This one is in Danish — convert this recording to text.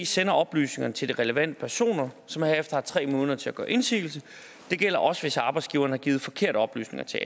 sender oplysningerne til de relevante personer som herefter har tre måneder til at gøre indsigelse det gælder også hvis arbejdsgiveren har givet forkerte oplysninger til